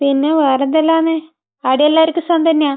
പിന്നെ വേറെന്തെല്ലാമാണ്? അവിടെ എല്ലാവർക്കും സുഖം തന്നെയാ?